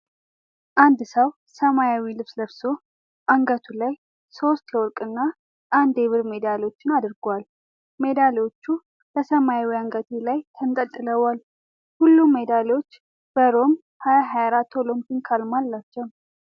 አንድ ሰው ሰማያዊ ልብስ ለብሶ፤ አንገቱ ላይ ሶስት የወርቅና አንድ የብር ሜዳሊያዎችን አድርጓል። ሜዳሊያዎቹ በሰማያዊ አንገትጌ ላይ ተንጠልጥለዋል፤ ሁሉም ሜዳሊያዎቹ በሮም 2024 ኦሎምፒክ ዓርማ አላቸው።